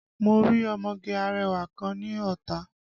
Mo rí ọmọge arẹwà kan ní Ọ̀tà